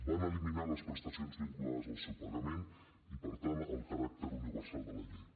van eliminar les prestacions vinculades al seu pagament i per tant el caràcter universal de la llei